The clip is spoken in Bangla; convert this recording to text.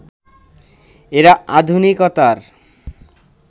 এরা আধুনিকতার